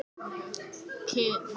Nótt, hvað er á dagatalinu mínu í dag?